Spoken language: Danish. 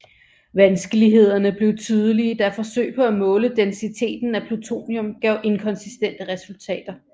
Vanskelighederne blev tydelige da forsøg på at måle densiteten af plutonium gav inkonsistente resultater